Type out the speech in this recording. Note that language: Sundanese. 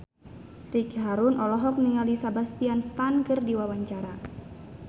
Ricky Harun olohok ningali Sebastian Stan keur diwawancara